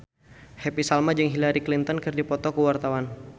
Happy Salma jeung Hillary Clinton keur dipoto ku wartawan